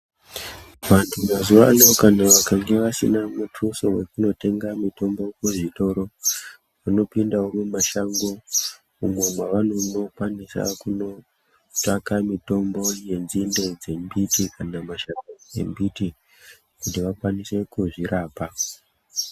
Vantu mazuvano kana vakange vasina mutuso wekunotenga mitombo kuzvitoro vanopindawo mumashango umo mwavanonokwanisa kunotsvaka mitombo yenzinde dzembiti kana mashakani embiti kuti vakwanise kuzvirapa.